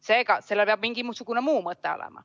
Seega, sellel peab mingisugune muu mõte olema.